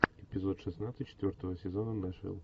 эпизод шестнадцать четвертого сезона нэшвилл